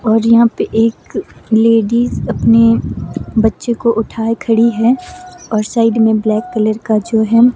और यहां पे एक लेडीज अपने बच्चे को उठाए खड़ी है और साइड में ब्लैक कलर का जो है।